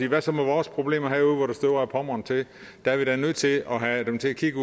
hvad så med vores problemer herude hvor det støver ad pommern til der er vi da nødt til at have dem til at kigge